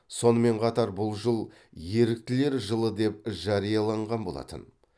сонымен қатар бұл жыл еріктілер жылы деп жарияланған болатын